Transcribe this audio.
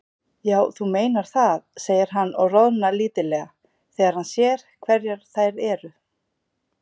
Já, þú meinar það, segir hann og roðnar lítillega þegar hann sér hverjar þær eru.